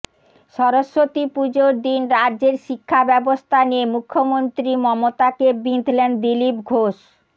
সরস্বতী পুজোর দিন রাজ্যের শিক্ষাব্যবস্থা নিয়ে মুখ্যমন্ত্রী মমতাকে বিঁধলেন দিলীপ ঘোষ